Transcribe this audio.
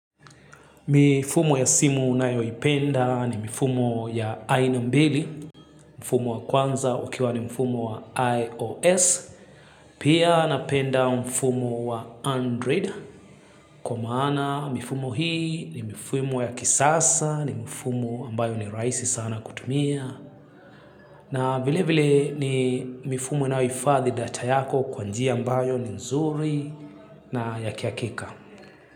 Mifumo ya simu ninayoipenda ni mifumo ya Aina Mbili, mifumo wa kwanza ukiwa ni mifumo wa IOS, pia napenda mifumo wa Android, kwa maana mifumo hii ni mifumo ya kisasa, ni mifumo ambayo ni rahisi sana kutumia, na vile vile ni mifumo inayohifadhi data yako kwa njia ambayo ni nzuri na ya kiakika.